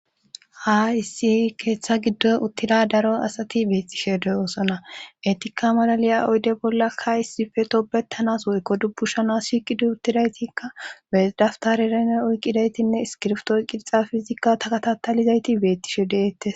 Ha issi keeththa giddo uttida daro asati beettishe deyoosona etikka malaliya oyde bollakka issife tobettanas woykko dubbu shana shi qidu uttidaytikka bedaftarerene oyqqidaytinne iskirftoo qirxa fizikka takatatalizayti beettishe deeettes